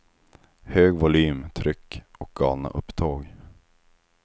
Hög volym, tryck och galna upptåg.